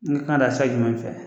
N ka kan ka taa sira jumɛn de fɛ?